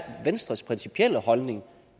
venstres principielle holdning